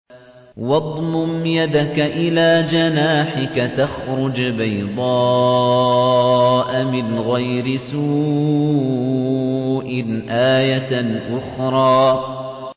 وَاضْمُمْ يَدَكَ إِلَىٰ جَنَاحِكَ تَخْرُجْ بَيْضَاءَ مِنْ غَيْرِ سُوءٍ آيَةً أُخْرَىٰ